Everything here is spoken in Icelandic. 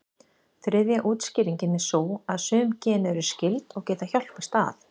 Þriðja útskýringin er sú að sum gen eru skyld, og geta hjálpast að.